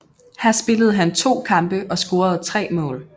Her spillede han to kampe og scorede tre mål